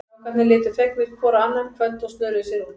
Strákarnir litu fegnir hvor á annan, kvöddu og snöruðu sér út.